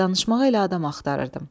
Danışmağa elə adam axtarırdım.